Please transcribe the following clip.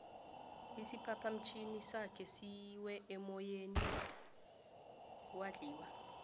isiphaphamtjhini sakhe siwe emoyeni wadliwa